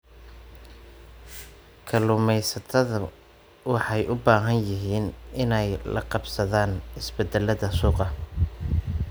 Kalluumaysatadu waxay u baahan yihiin inay la qabsadaan isbeddellada suuqa.